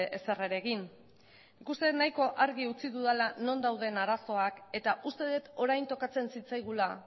ezer ere egin nik uste dut nahiko argi utzi dudala non dauden arazoak eta uste dut orain tokatzen zitzaigula